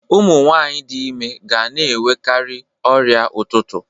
Ụmụ nwanyị dị ime ga na-enwekarị ọrịa ụtụtụ